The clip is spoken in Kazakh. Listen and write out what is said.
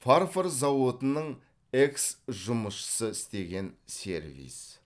фарфор зауытының экс жұмысшысы істеген сервиз